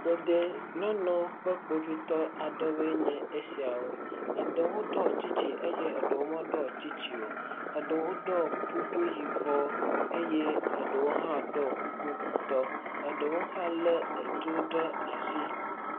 Ɖeɖe nyɔnuwo ƒe kpovitɔ aɖewoe nye esiawo. Eɖewo ɖɔ tsitsi eye eɖewo meɖɔ tsitsi o. Eɖewo ɖɔ kuku yibɔ eye eɖewo hã ɖɔ kuku ŋutɔ. Eɖewo hã lé etu ɖe asi.